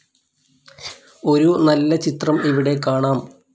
ഒരു നല്ല ചിത്രം ഇവിടെ കാണാം